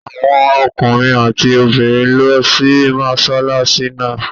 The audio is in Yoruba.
Awon ookunrin ati obirin n lo si mosolasi naa